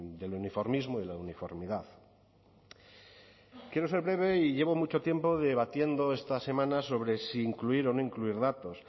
del uniformismo y de la uniformidad quiero ser breve y llevo mucho tiempo debatiendo esta semana sobre si incluir o no incluir datos